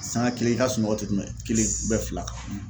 Sanga kelen i ka sunɔgɔ tɛ tɛmɛ kelen fila kan.